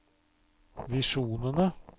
visjonene